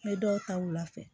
N bɛ dɔw ta wula fɛ